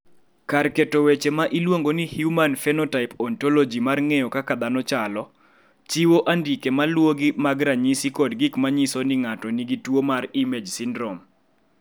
Kar keto weche ma iluongo ni Human Phenotype Ontology mar ng�eyo kaka dhano chalo, chiwo andike ma luwogi mag ranyisi kod gik ma nyiso ni ng�ato nigi tuo mar IMAGe syndrome.